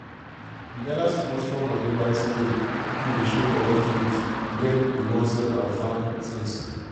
we gather small small money buy scale wey dey show correct weight when we wan sell our farm things.